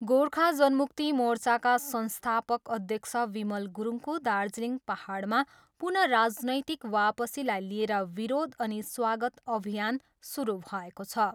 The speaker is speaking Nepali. गोर्खा जनमुक्ति मोर्चाका संस्थापक अध्यक्ष विमल गुरुङको दार्जिलिङ पाहाडमा पुनः राजनैतिक वापसीलाई लिएर विरोध अनि स्वागत अभियान सुरु भएको छ।